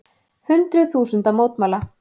Hundruð þúsunda mótmæla